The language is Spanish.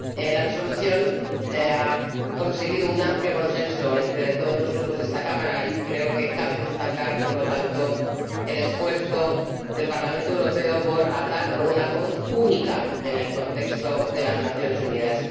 La Resolución ha conseguido un amplio consenso entre todos los Grupos de esta Cámara, y creo que cabe destacar, por lo tanto, el esfuerzo del Parlamento Europeo por hablar con una voz única en el contexto de las Naciones Unidas.